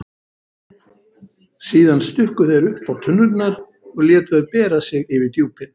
Síðan stukku þeir uppá tunnurnar og létu þær bera sig yfir djúpin.